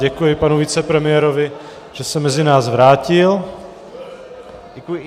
Děkuji panu vicepremiérovi, že se mezi nás vrátil.